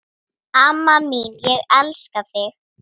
Amma mín, ég elska þig.